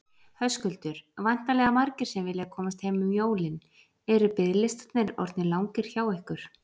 Höskuldur: Væntanlega margir sem vilja komast heim um jólin, eru biðlistarnir orðnir langir hjá ykkur?